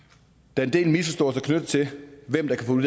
der en del misforståelser knyttet til hvem der kan